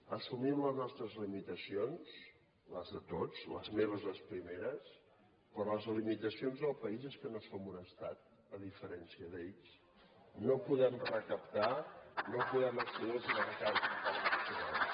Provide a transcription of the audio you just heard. assumim les nostres limitacions les de tots les meves les primeres però les limitacions del país són que no som un estat a diferència d’ells no podem recaptar no podem accedir als mercats internacionals